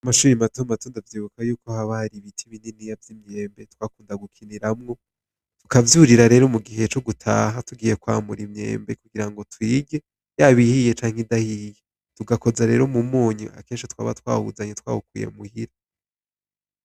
Mumashure matomato ndavyibuka ko haba hari ibiti vyimyembe twakunda gukiniramwo tukavyurira mugihe cogutaha tugiye kwamura imyembe iyaba ugiye canke idahiye tugakoza mumunyu kuko kenshi twawukuye muhira.